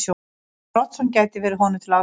Gunnar Oddsson gæti verið honum til aðstoðar.